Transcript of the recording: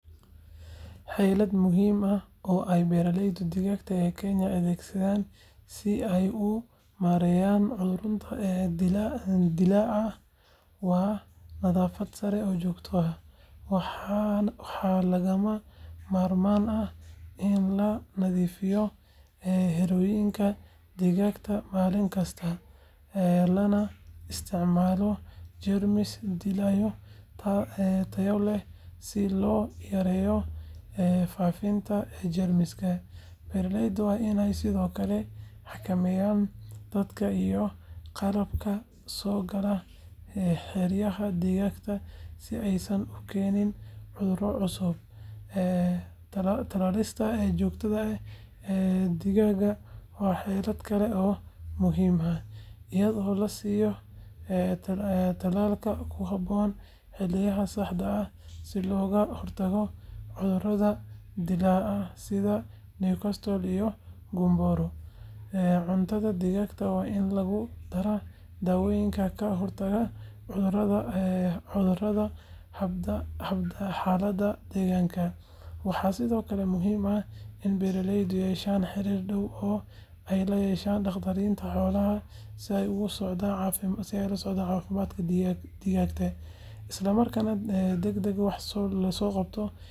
Xeelad muhiim ah oo ay beeralayda digaaga ee Kenya adeegsadaan si ay u maareeyaan cudurrada dillaaca waa nadaafad sare oo joogto ah. Waxaa lagama maarmaan ah in la nadiifiyo xerooyinka digaaga maalin kasta, lana isticmaalo jeermis-dileyaal tayo leh si loo yareeyo faafidda jeermiska. Beeraleydu waa inay sidoo kale xakameeyaan dadka iyo qalabka soo gala xeryaha digaaga si aysan u keenin cudurro cusub. Talaalista joogtada ah ee digaaga waa xeelad kale oo muhiim ah, iyadoo la siiyo tallaalka ku habboon xilliyada saxda ah si looga hortago cudurrada dillaaca sida Newcastle iyo Gumboro. Cuntada digaaga waa in lagu daraa daawooyinka ka hortaga cudurrada hadba xaaladda deegaanka. Waxaa sidoo kale muhiim ah in beeraleydu yeeshaan xiriir dhow oo ay la yeeshaan dhakhaatiirta xoolaha si ay ula socdaan caafimaadka digaagga, isla markaana degdeg wax looga qabto haddii cudur dillaaco. Ugu dambayn, beeraleydu waa inay aqoon u yeeshaan astaamaha hore ee cudurrada si ay si dhakhso ah u gartaan dhibka, taasoo yareyn karta khasaaraha.